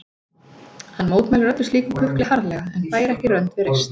Hann mótmælir öllu slíku kukli harðlega en fær ekki rönd við reist.